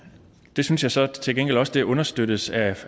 det synes jeg så til gengæld også understøttes af